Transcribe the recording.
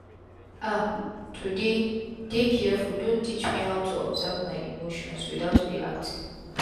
ah to dey dey carefu don teach me how to observe my emotions without reacting.